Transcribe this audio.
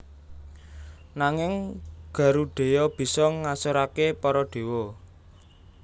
Nanging Garudheya bisa ngasoraké para dewa